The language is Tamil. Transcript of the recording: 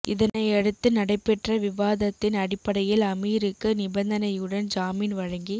இதனையடுத்து நடைபெற்ற விவாதத்தின் அடிப்படையில் அமீருக்கு நிபந்தனையுடன் ஜாமின் வழங்கி